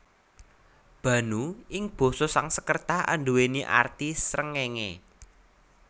Bhanu ing basa Sangskerta anduwèni arti srengéngé